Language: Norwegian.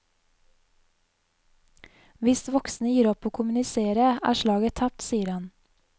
Hvis voksne gir opp å kommunisere, er slaget tapt, sier han.